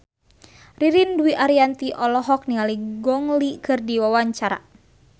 Ririn Dwi Ariyanti olohok ningali Gong Li keur diwawancara